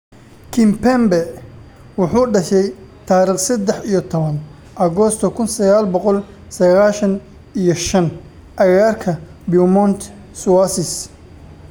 Kimpembe wuxuu dhashay tarikh sadex iyo towan Agoosto kun saqal boqol saqashan iyo shan agagaarka Beaumont-sur-Oise.